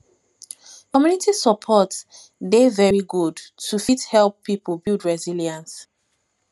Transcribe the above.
community support dey very good to fit help pipo build resilience